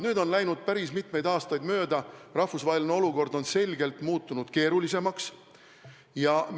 Nüüd on läinud päris mitu aastat mööda, rahvusvaheline olukord on selgelt keerulisemaks muutunud.